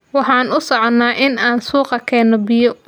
Waxaan u soconaa in aan suuqa keeno biyo